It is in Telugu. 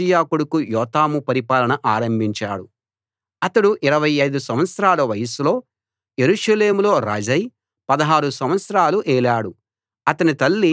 అతడు 25 సంవత్సరాల వయస్సులో యెరూషలేములో రాజై 16 సంవత్సరాలు ఏలాడు అతని తల్లి సాదోకు కూతురు యెరూషా